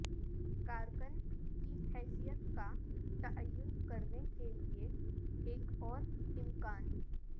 کارکن کی حیثیت کا تعین کرنے کے لئے ایک اور امکان